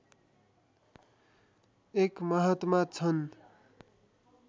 एक महात्मा छन्